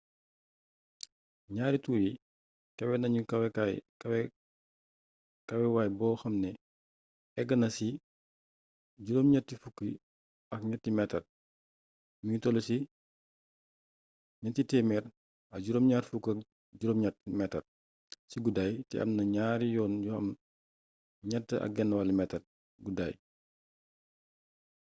ñaari tuur yi kawe nañ kawewaay boo xam ne eggna ci 83 meetar mi ngi toll ci 378 meetar ci guddaay te am na ñaari yoon yu am 3,50 metaar guddaaay